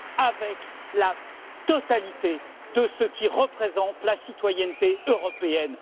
avec la totalité de ceux qui représentent la citoyenneté européenne.